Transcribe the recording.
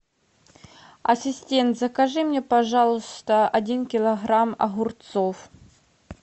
ассистент закажи мне пожалуйста один килограмм огурцов